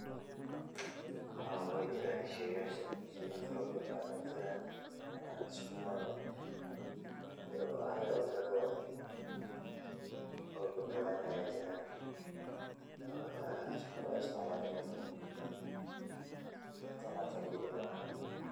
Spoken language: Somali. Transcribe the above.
Haa wey jiraan sheey yaasha, sheey yaal fara badana Aya jiraan danka Sukuma, iyo wax yaba kale oo badalaan Aya jiraan, oo hata sii kale uisticmali karto tan hata kelii maaha .